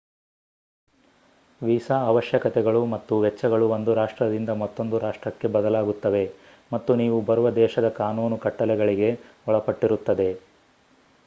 visa ಅವಶ್ಯಕತೆಗಳು ಮತ್ತು ವೆಚ್ಚಗಳು ಒಂದು ರಾಷ್ಟ್ರದಿಂದ ಮತ್ತೊಂದು ರಾಷ್ಟ್ರಕ್ಕೆ ಬದಲಾಗುತ್ತವೆ ಮತ್ತು ನೀವು ಬರುವ ದೇಶದ ಕಾನೂನು ಕಟ್ಟಲೆಗಳಿಗೆ ಒಳಪಟ್ಟಿರುತ್ತದೆ